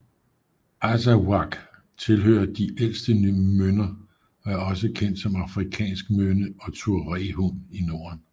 Azawakh tilhører de ældste mynder og er også kendt som afrikansk mynde og tuareghund i Norden